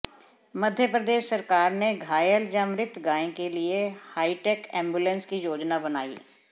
मध्यप्रदेश सरकार ने घायल या मृत गाय के लिए हाईटेक एंबुलेंस की योजना बनाई